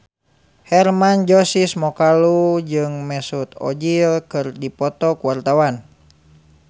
Hermann Josis Mokalu jeung Mesut Ozil keur dipoto ku wartawan